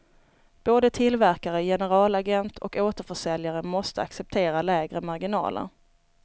Både tillverkare, generalagent och återförsäljare måste acceptera lägre marginaler.